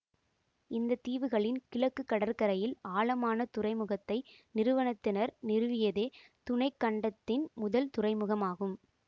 இந்த தீவுகளின் கிழக்கு கடற்கரையில் ஆழமான துறைமுகத்தை நிறுவனத்தினர் நிறுவியதே துணைக்கண்டத்தின் முதல் துறைமுகமாகும்